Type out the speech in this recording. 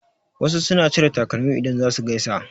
Wasu suna cire takalmi idan za su gaisa.